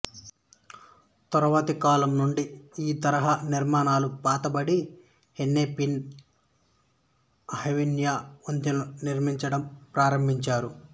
తరువాతి కాలం నుండి ఈ తరహా నిర్మాణాలు పాతబడి హెన్నెపిన్ అవెన్యూ వంతెనలు నిర్మించడం ప్రారంభించారు